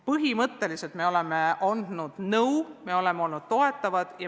Põhimõtteliselt me oleme andnud nõu ja me oleme olnud toetavad.